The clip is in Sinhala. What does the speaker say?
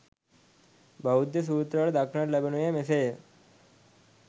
බෞද්ධ සූත්‍රවල දක්නට ලැබෙනුයේ මෙසේ ය.